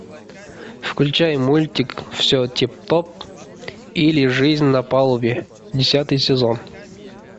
включай мультик все тип топ или жизнь на палубе десятый сезон